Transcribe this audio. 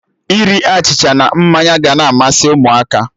Iri achịcha na mmanya ga na amasị Ụmụaka